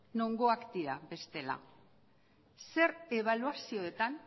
nongoak dira bestela zer ebaluazioetan